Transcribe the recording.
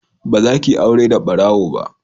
Ba za ki yi aure da barawo ba!